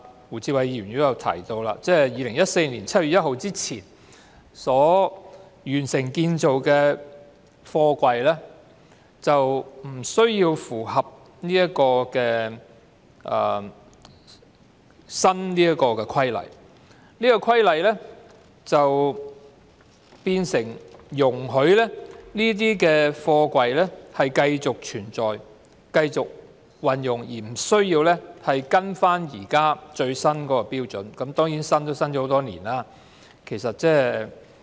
胡志偉議員剛才也提到，《條例草案》訂明在2014年7月1日之前完成建造的貨櫃不需要符合修訂法例，即是說修訂法例容許這些貨櫃繼續存在及使用，不需要跟隨現時的最新標準，但即使是最新標準亦已訂立多年。